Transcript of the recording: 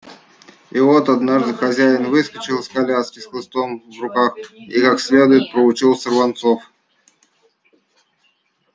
и вот однажды хозяин выскочил из коляски с хлыстом в руках и как следует проучил сорванцов